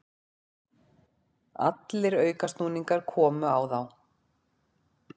Allir aukasnúningar komu á þá.